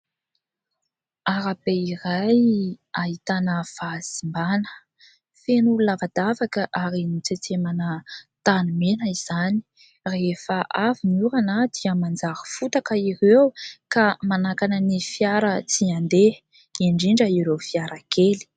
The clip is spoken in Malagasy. Arabe iray ahitana fahasimbana, feno lavadavaka ary notsetsemana tanimena izany rehefa avy ny orana a dia manjary fotaka ireo ka manakana ny fiara tsy andeha indrindra ireo fiara kely.